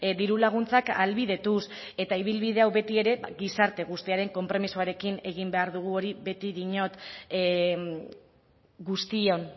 diru laguntzak ahalbidetuz eta ibilbide hau beti ere gizarte guztiaren konpromisoarekin egin behar dugu hori beti diot guztion